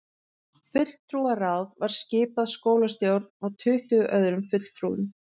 Fulltrúaráð var skipað skólastjórn og tuttugu öðrum fulltrúum